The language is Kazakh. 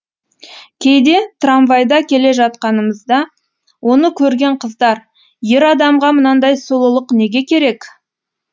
кейде трамвайда келе жатқанымызда оны көрген қыздар ер адамға мынандай сұлулық неге керек